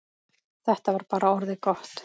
Þetta var bara orðið gott.